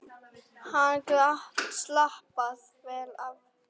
Hann gat slappað vel af.